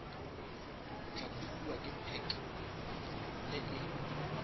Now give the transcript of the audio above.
tlhatlhobiwa ke pac e e